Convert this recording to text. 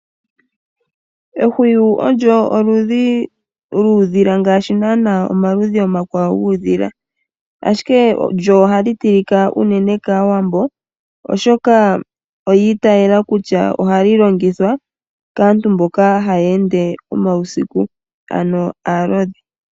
Ehwiwu olyo oludhi lyuudhila ngaashi naana omaludhi omakwawo guudhila, ashike lyo ohali tilika unene kaawambo oshoka oyi itayela kutya ohali longithwa kaantu mboka haya ende omausiku ano aalodhi.